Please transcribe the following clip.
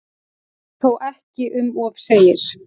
Þó ekki um of segir